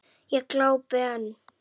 Ég glápi enn.